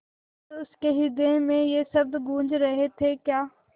पर उसके हृदय में ये शब्द गूँज रहे थेक्या